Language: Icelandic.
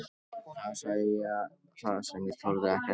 Þar sagði ég það sem ég þorði ekki að segja honum sjálf.